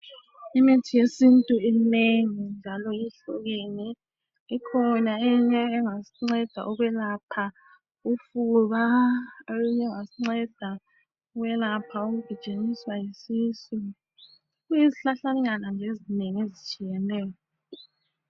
Imithi yesintu iminengi njalo ihlukene ikhona eyinye engasinceda ukwelapha ufuba eyinye engasinceda ukwelapha ukugijinyiswa yisisu kuyizihlahlanyana nje ezinengi ezitshiyeneyo.